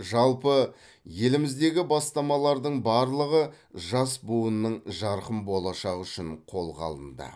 жалпы еліміздегі бастамалардың барлығы жас буынның жарқын болашағы үшін қолға алынды